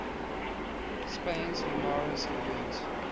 spain's linares event